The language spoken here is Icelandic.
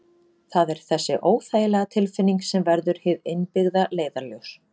Það er þessi óþægilega tilfinning sem verður hið innbyggða leiðarljós.